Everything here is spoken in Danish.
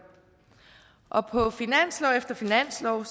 og på finanslov efter finanslov er